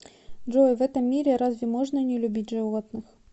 джой в этом мире разве можно не любить животных